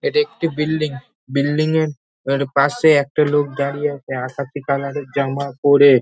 এটি একটি building. Building -এর আ পাশে একটা লোক দাঁড়িয়ে আছে আকাশী কালার -এর জামা পরে।